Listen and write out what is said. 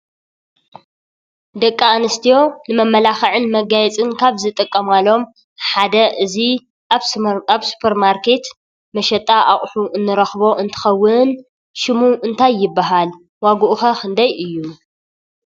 ደቂ ኣንስትዮ ንመመላኽዕን ንመጋየፅን ካብ ዝጥቀማሎም ሓደ እዚ ኣብ ሱፐርማርኬት መሸጣ ኣቑሑ ንረኽቦ እንትኸውን ሽሙ እንታይ ይባሃል? ዋግኡ ኸ ክንደይ እዩ?